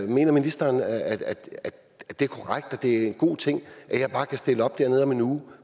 mener ministeren at det er en god ting at jeg bare kan stille op dernede om en uge